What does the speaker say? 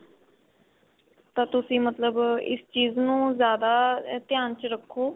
ਤਾਂ ਤੁਸੀਂ ਮਤਲਬ ਇਸ ਚੀਜ ਨੂੰ ਜਿਆਦਾ ਧਿਆਨ ਚ ਰੱਖੋ